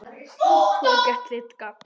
Þú hefur gert þitt gagn.